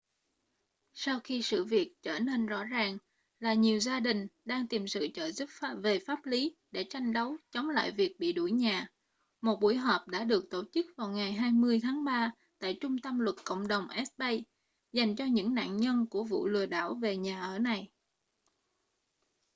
sau khi sự việc trở nên rõ ràng là nhiều gia đình đang tìm sự trợ giúp về pháp lý để tranh đấu chống lại việc bị đuổi nhà một buổi họp đã được tổ chức vào ngày 20 tháng ba tại trung tâm luật cộng đồng east bay dành cho những nạn nhân của vụ lừa đảo về nhà ở này